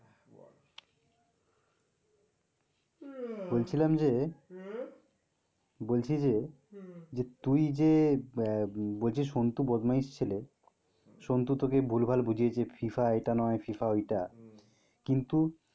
বলছিলাম যে বলছি যে যে তুই যে আহ বলছিস সনটু বদমাইশ ছেলে, সনটু তোকে ভুলভাল বুঝিয়েছে FIFA এটা নয় ফিফা ঐটা কিন্তু,